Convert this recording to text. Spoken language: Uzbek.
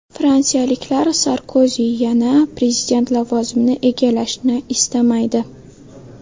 Fransiyaliklar Sarkozi yana prezident lavozimini egallashini istamaydi.